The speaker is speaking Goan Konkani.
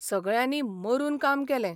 सगळ्यांनी मरून काम केलें.